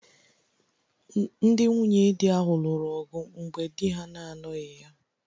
Ndị nwunye di ahụ lụrụ ọgụ mgbe di ha na-anọghị ya